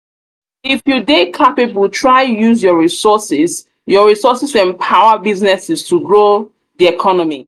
if you de capable try use your resources your resources empower businesses to grow di economy